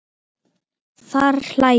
Þær hlæja.